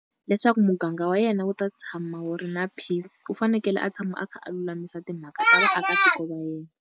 Leswaku muganga wa yena wu ta tshama wu ri na peace u fanekele a tshama a kha a lulamisa timhaka ta vaakatiko va yena.